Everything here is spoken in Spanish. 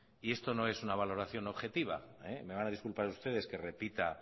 y esto no es una valoración objetiva me van a disculpar ustedes que repita